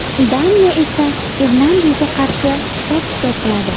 Daniya esa Irlandiyaga qarshi hisob-kitob qiladi.